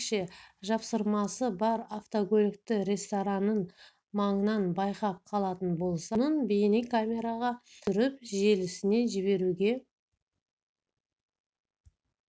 егер қалалықтар ерекше жапсырмасы бар автокөлікті ресторанның маңынан байқап қалатын болса оның бейнекамераға түсіріп желісіне жіберуге